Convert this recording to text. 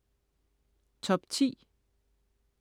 Top 10